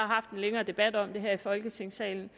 haft en længere debat om det her i folketingssalen